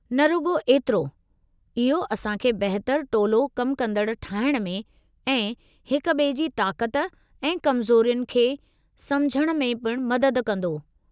न रुॻो एतिरो, इहो असां खे बहितरु टोलो-कम कंदड़ु ठहिणु में ऐं हिक ॿिए जी ताक़त ऐं कमज़ोरियुनि खे समुझण में पिणु मदद कंदो।